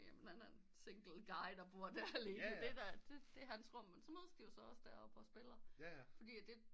Jamen han er en single guy der bor der alene det er det er hans rum men så mødes de jo også der oppe og spiller fordi det